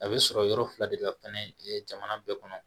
A bɛ sɔrɔ yɔrɔ fila de la fɛnɛ jamana bɛɛ kɔnɔ